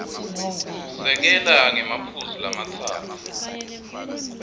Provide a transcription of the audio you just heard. sekela ngemaphuzu lamatsatfu